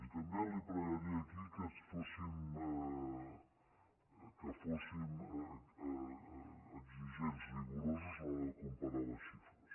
i també li pregaria aquí que fóssim exigents rigorosos a l’hora de comparar les xifres